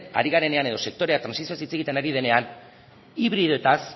ari garenean edo sektorea trantsizioaz hitz egiten ari denean hibridoetaz